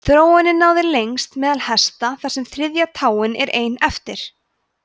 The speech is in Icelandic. þróunin náði lengst meðal hesta þar sem þriðja táin er ein eftir